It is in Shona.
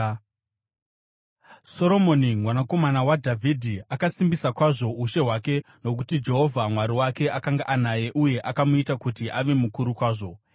Soromoni mwanakomana waDhavhidhi akasimbisa kwazvo ushe hwake, nokuti Jehovha Mwari wake akanga anaye uye akamuita kuti ave mukuru kwazvo.